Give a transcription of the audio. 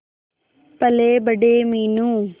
पलेबड़े Meenu